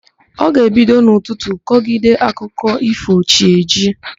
Ọ ga-ebido n'ụtụtụ kọgide akụkọ ífò chi ejiee.